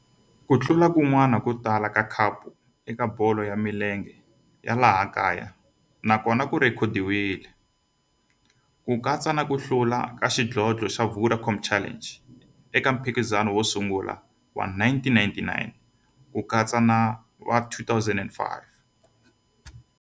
Ku hlula kun'wana ko tala ka khapu eka bolo ya milenge ya laha kaya na kona ku rhekhodiwile, ku katsa na ku hlula ka xidlodlo xa Vodacom Challenge eka mphikizano wo sungula wa 1999 na 2005.